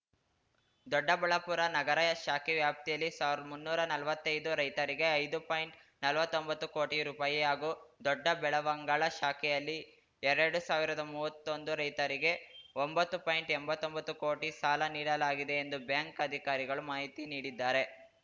ದೊಡ್ಡಬಳ್ಳಾಪುರ ನಗರ ಶಾಖೆ ವ್ಯಾಪ್ತಿಯಲ್ಲಿ ಸಾವಿರ್ದ್ ಮುನ್ನೂರ್ ನಲ್ವತ್ತೈದು ರೈತರಿಗೆ ಐದು ಪಾಯಿಂಟ್ನಲವತ್ತೊಂಬತ್ತು ಕೋಟಿ ರುಪಾಯಿ ಹಾಗೂ ದೊಡ್ಡಬೆಳವಂಗಲ ಶಾಖೆಯಲ್ಲಿ ಎರಡು ಸಾವಿರದ ಮುವ್ವತ್ತೊಂದು ರೈತರಿಗೆ ಒಂಬತ್ತು ಪಾಯಿಂಟ್ಎಂಬತ್ತೊಂಬತ್ತು ಕೋಟಿ ಸಾಲ ನೀಡಲಾಗಿದೆ ಎಂದು ಬ್ಯಾಂಕ್‌ ಅಧಿಕಾರಿಗಳು ಮಾಹಿತಿ ನೀಡಿದ್ದಾರೆ